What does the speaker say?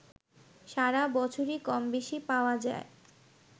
সারা বছরই কমবেশি পাওয়া যায়